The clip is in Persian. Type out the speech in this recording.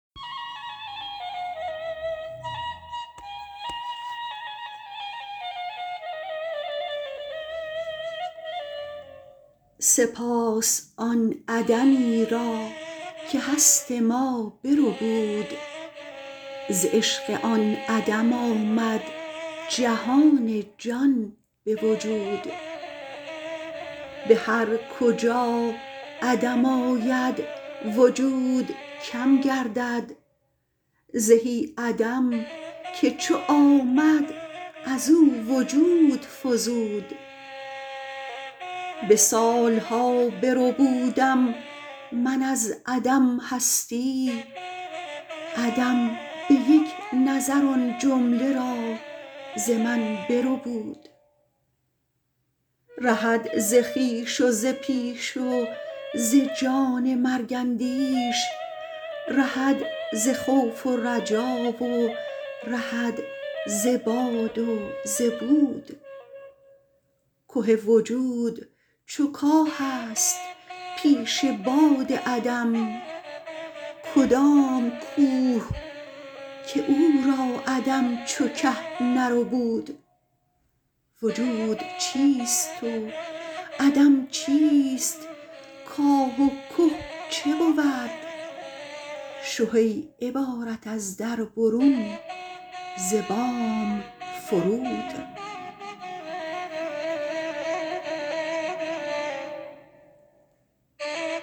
سپاس آن عدمی را که هست ما بربود ز عشق آن عدم آمد جهان جان به وجود به هر کجا عدم آید وجود کم گردد زهی عدم که چو آمد از او وجود فزود به سال ها بربودم من از عدم هستی عدم به یک نظر آن جمله را ز من بربود رهد ز خویش و ز پیش و ز جان مرگ اندیش رهد ز خوف و رجا و رهد ز باد و ز بود که وجود چو کاهست پیش باد عدم کدام کوه که او را عدم چو که نربود وجود چیست و عدم چیست کاه و که چه بود شه ای عبارت از در برون ز بام فرود